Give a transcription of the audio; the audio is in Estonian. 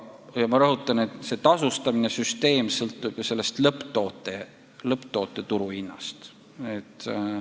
Ja ma rõhutan, et meie tasu nõudmise süsteem sõltub lõpptoote turuhinnast.